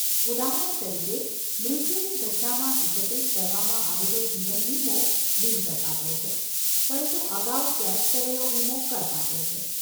ઉદાહરણ તરીકે, મૃત્યુની ઘટનામાં એકત્રિત કરવામાં આવેલો જીવન વીમો બિન કરપાત્ર છે, પરંતુ અગાઉ કેશ કરેલો વીમો કરપાત્ર છે.